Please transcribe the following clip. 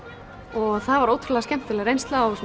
og það var ótrúlega skemmtileg reynsla og